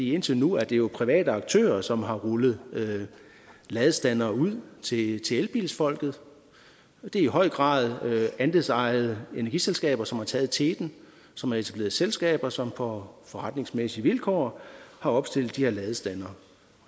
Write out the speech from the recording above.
indtil nu er det jo private aktører som har rullet ladestandere ud til elbilsfolket og det er i høj grad andelsejede energiselskaber som har taget teten og som har etableret selskaber som på forretningsmæssige vilkår har opstillet de her ladestandere